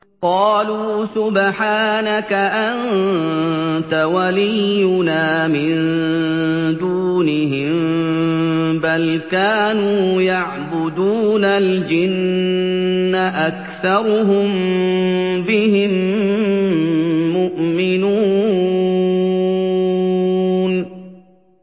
قَالُوا سُبْحَانَكَ أَنتَ وَلِيُّنَا مِن دُونِهِم ۖ بَلْ كَانُوا يَعْبُدُونَ الْجِنَّ ۖ أَكْثَرُهُم بِهِم مُّؤْمِنُونَ